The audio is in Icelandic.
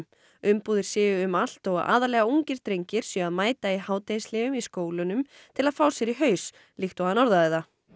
umbúðir séu um allt og aðallega ungir drengir séu að mæta í hádegishléum í skólunum til að fá sér í haus líkt og hann orðaði það